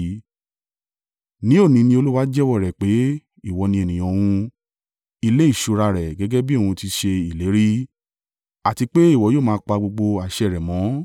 Ní òní ni Olúwa jẹ́wọ́ rẹ pé ìwọ ni ènìyàn òun, ilé ìṣúra rẹ̀ gẹ́gẹ́ bí òun ti ṣe ìlérí, àti pé ìwọ yóò máa pa gbogbo àṣẹ rẹ̀ mọ́.